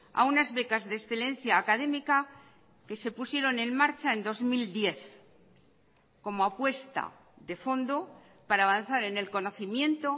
a unas becas de excelencia académica que se pusieron en marcha en dos mil diez como apuesta de fondo para avanzar en el conocimiento